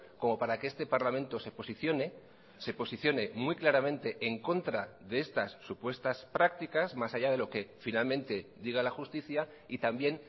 como para que este parlamento se posicione se posicione muy claramente en contra de estas supuestas prácticas más allá de lo que finalmente diga la justicia y también